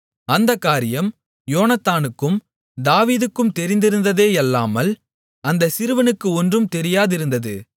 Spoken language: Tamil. அந்தக் காரியம் யோனத்தானுக்கும் தாவீதுக்கும் தெரிந்திருந்ததேயல்லாமல் அந்த சிறுவனுக்கு ஒன்றும் தெரியாதிருந்தது